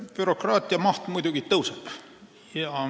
Bürokraatia maht muidugi tõuseb.